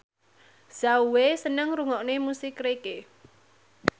Zhao Wei seneng ngrungokne musik reggae